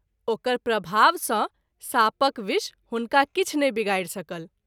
ओकर प्रभाव सँ साँपक विष हुनका किछु नहि विगारि सकल।